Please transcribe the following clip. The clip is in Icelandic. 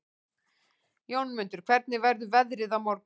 Jómundur, hvernig verður veðrið á morgun?